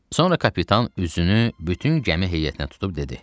Sonra kapitan üzünü bütün gəmi heyətinə tutub dedi: